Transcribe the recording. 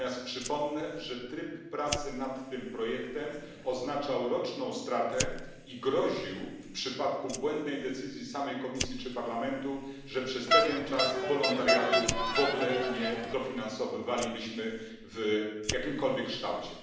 Przypomnę natomiast, że tryb pracy nad tym projektem oznaczał roczną stratę i groził, w przypadku błędnej decyzji samej Komisji czy Parlamentu, że przez pewien czas w ogóle nie dofinansowywalibyśmy wolontariatu w jakimkolwiek kształcie.